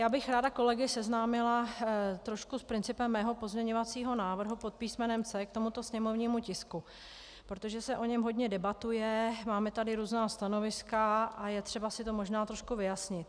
Já bych ráda kolegy seznámila trošku s principem svého pozměňovacího návrhu pod písmenem C k tomuto sněmovnímu tisku, protože se o něm hodně debatuje, máme tady různá stanoviska a je třeba si to možná trošku vyjasnit.